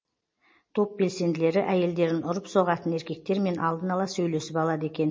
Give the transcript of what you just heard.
топ белсенділері әйелдерін ұрып соғатын еркектермен алдын ала сөйлесіп алады екен